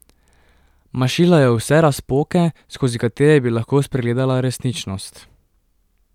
Mašila je vse razpoke, skozi katere bi lahko spregledala resničnost.